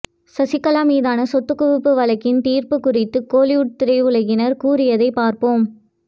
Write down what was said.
சசிகலா மீதான சொத்துக்குவிப்பு வழக்கின் தீர்ப்பு குறித்து கோலிவுட் திரையுலகினர் கூறியதை பார்ப்போம்